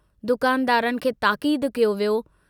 दुकानदारनि खे ताकीदु कयो वियो।